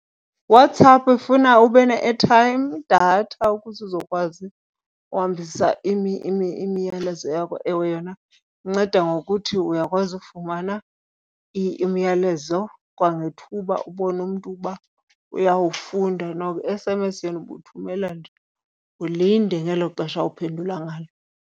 WhatsApp ifuna ube ne-airtime idatha ukuze uzokwazi uhambisa imiyalezo yakho. Ewe yona inceda ngokuthi uyakwazi ufumana imiyalezo kwangethuba ubone umntu uba uyawufuna na. I-S_M_S yona ubuthumelela nje ulinde ngelo xesha awuphendula ngalo.